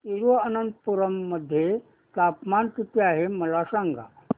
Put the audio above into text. तिरूअनंतपुरम मध्ये तापमान किती आहे मला सांगा